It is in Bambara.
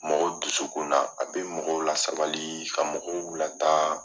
Mɔgɔw dusu kun na a bɛ mɔgɔw lasabali ka mɔgɔw lataa.